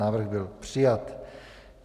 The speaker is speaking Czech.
Návrh byl přijat.